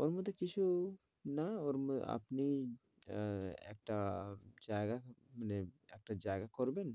ওর মধ্যে কিছু না ওর মধ্যে আপনি আহ একটা জায়গায় মানে একটা জায়গা করবেন